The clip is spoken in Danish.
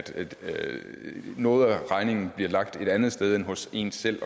noget af regningen bliver lagt et andet sted end hos en selv